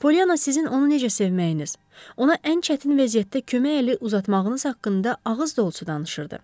Polyana sizin onu necə sevməyiniz, ona ən çətin vəziyyətdə kömək əli uzatmağınız haqqında ağız dolusu danışırdı.